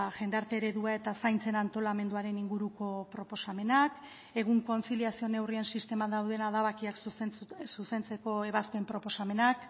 jendarte eredua eta zaintzen antolamenduaren inguruko proposamenak egun kontziliazio neurrien sisteman dauden adabakiak zuzentzeko ebazpen proposamenak